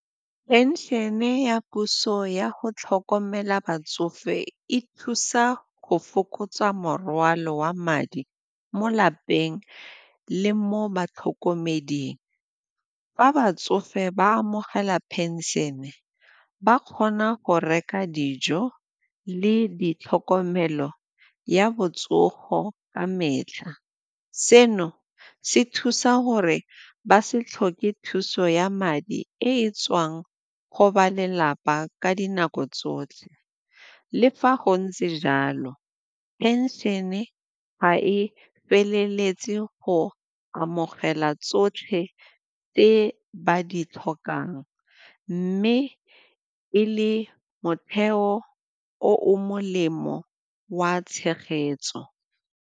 Phenšene ya puso ya go tlhokomela batsofe e thusa go fokotsa morwalo wa madi mo lapeng le mo batlhokomeding. Fa batsofe ba amogela pension ba kgona go reka dijo le di tlhokomelo ya botsogo ka metlha. Seno se thusa gore ba se tlhoke thuso ya madi e tswang go ba lelapa ka dinako tsotlhe. Le fa go ntse jalo, phenšene ga e feleletse go amogela tsotlhe tse ba di tlhokang mme pele motheo o o molemo wa tshegetso.